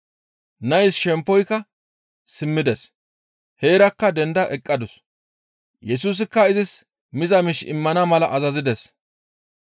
Nays shemppoyka simmides; heerakka denda eqqadus; Yesusikka izis miza miish immana mala azazides.